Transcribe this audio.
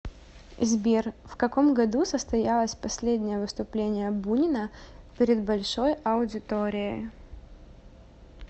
сбер в каком году состоялось последнее выступление бунина перед большой аудиторией